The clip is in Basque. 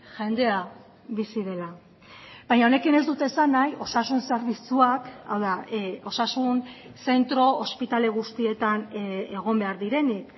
jendea bizi dela baina honekin ez dut esan nahi osasun zerbitzuak hau da osasun zentro ospitale guztietan egon behar direnik